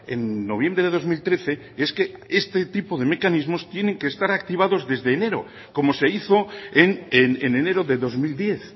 en noviembre de dos mil trece es que este tipo de mecanismos tienen de estar activados desde enero como se hizo en enero de dos mil diez